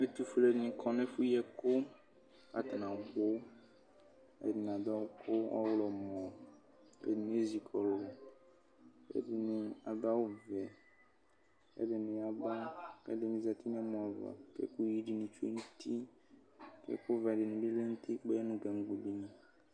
ɛtu ɔfuele ni kɔ nu ɛfu yi ɛkuku atani abu ɛdini adu ɛku ɔɣlɔmɔ, ku ɛdini ezi kɔlu ku ɛdini adu awu vɛku ɛdini yaba ku ɛdini zati nu ɛmɔ ayiʋ ava ku ɛkuyi dini tsoe nu uti ku ɛku vɛ dini bi lɛnu utikpayɛ dunu gaŋgo dini